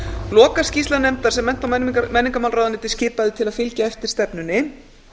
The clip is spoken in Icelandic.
lokaskýrsla nefndar sem mennta og menningarmálaráðuneytið skipaði til að fylgja eftir stefnunni